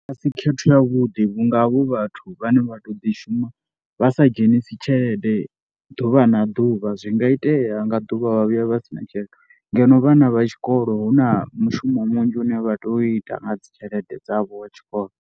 A si khetho yavhuḓi vhunga havho vhathu vhane vha to ḓishuma vha sa dzhenisi tshelede ḓuvha na ḓuvha zwi nga itea nga ḓuvha vha vhuya vha si na tshelede ngeno vhana vha tshikolo hu na mishumo munzhi une vha tou ita nga dzi tshelede dzavho wa tshikolo.